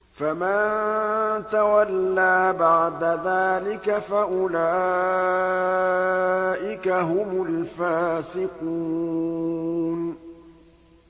فَمَن تَوَلَّىٰ بَعْدَ ذَٰلِكَ فَأُولَٰئِكَ هُمُ الْفَاسِقُونَ